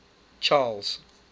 charles